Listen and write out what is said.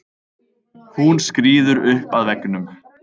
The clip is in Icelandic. Hún skríður upp að veggnum.